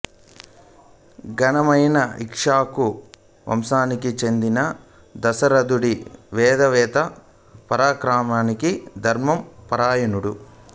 ఘనమైన ఇక్ష్వాకు వంశానికి చెందిన దశరథుడు వేదవేత్త పరాక్రమశాలి ధర్మ పరాయణుడు